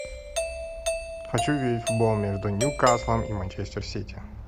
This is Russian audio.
хочу видеть футбол между ньюкаслом и манчестер сити